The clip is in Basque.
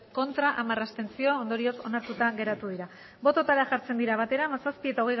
ez hamar abstentzio ondorioz onartuta geratu dira bototara jartzen dira batera hamazazpi eta